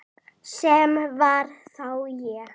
Sem var þá ég.